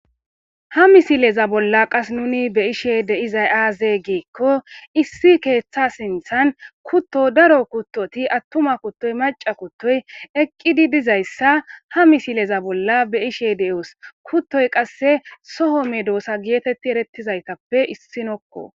ha misileza bolla qas nuni be ishe de izay aaze geekko issi keeththa sinthan kutto daro kuttoti attuma kuttoy maca kuttoy eqqidi dizayssa ha misileza bolla be ishe de7oos kuttoy qasse soho medoosa geetetti erettizaytappe issinokko